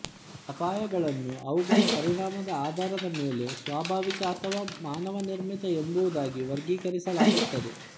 ಅಪಾಯಗಳನ್ನು ಅವುಗಳ ಪರಿಣಾಮದ ಆಧಾರದ ಮೇಲೆ ಸ್ವಾಭಾವಿಕ ಅಥವಾ ಮಾನವನಿರ್ಮಿತ ಎಂಬುದಾಗಿ ವರ್ಗೀಕರಿಸಲಾಗುತ್ತದೆ